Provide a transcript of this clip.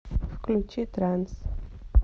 включи транс